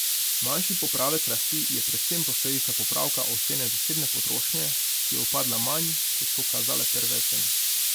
Manjši popravek rasti je predvsem posledica popravka ocene zasebne potrošnje, ki je upadla manj, kot so kazale prve ocene.